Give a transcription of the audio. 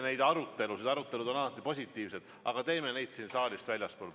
Arutelud on alati positiivsed, aga peame neid saalist väljaspool.